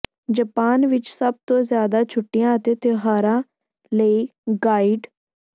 Japan ਵਿਚ ਸਭ ਤੋਂ ਜ਼ਿਆਦਾ ਛੁੱਟੀਆਂ ਅਤੇ ਤਿਉਹਾਰਾਂ ਲਈ ਗਾਈਡ